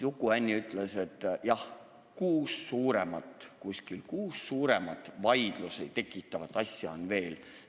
Uku Hänni ütles, et jah, umbes kuus suuremat vaidlust tekitavat asja on veel.